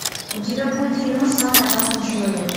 у тебя будет кино самый опасный человек